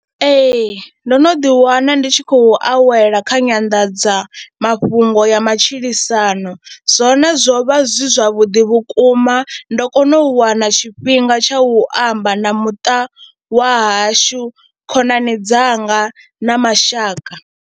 Ee, ndo no ḓiwana ndi tshi khou awela kha nyanḓadza mafhungo ya matshilisano zwone zwo vha zwi zwavhuḓi vhukuma ndo kona u wana tshifhinga tsha u amba na muṱa wa hashu khonani dzanga na mashaka.